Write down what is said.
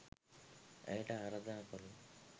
ඇයට ආරාධනා කරමු